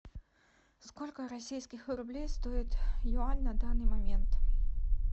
сколько российских рублей стоит юань на данный момент